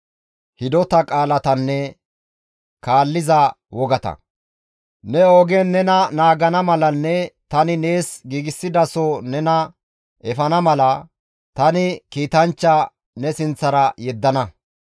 «Ne ogen nena naagana malanne tani nees giigsidaso nena efana mala, tani kiitanchcha ne sinththara yeddana.